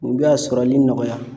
U bɛ a sɔrɔli nɔgɔya.